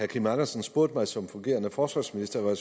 kim andersen spurgte mig som fungerende forsvarsminister var